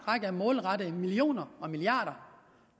række målrettede millioner og milliarder